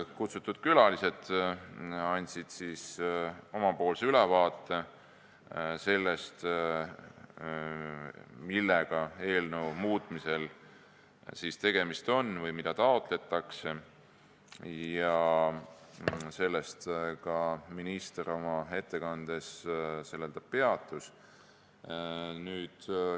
Kutsutud külalised andsid ülevaate sellest, millega eelnõu muutmise puhul tegemist on või mida taotletakse, ja sellel minister oma ettekandes ka peatus.